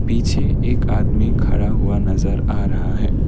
पीछे एक आदमी खड़ा हुआ नजर आ रहा है।